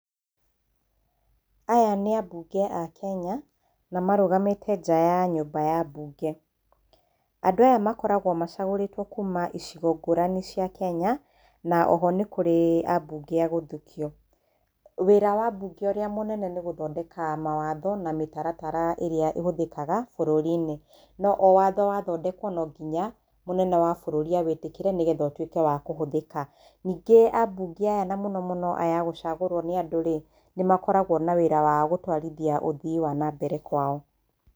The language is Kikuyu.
Aya nĩ ambunge a Kenya na marũgamĩte nja wa nyũmba ya mbunge. Andũ aya makoragwo macagũrĩtwo kuma icigo ngũrani cia Kenya, na oho nĩ kũrĩ ambunge agũthukio. Wira wa ambunge ũrĩa mũnene nĩ gũthondeka mawatho na mĩtaratara ĩrĩa ĩhũthĩkaga bũrũrinĩ, no o watho wathondekwo no ngĩnya mũnene wa bũrũri awĩtĩkĩre nĩgetha ũtuĩke wa kũhũthĩka. Ningĩ a mbunge aya na mũno mũno aya a gũcagũrwo nĩ andũ rĩ, nĩ makoragwo na wĩra wa gĩtwarithia ũthii wa nambere kwao.